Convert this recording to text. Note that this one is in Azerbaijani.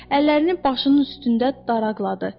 Əllərini başının üstündə daraqladı.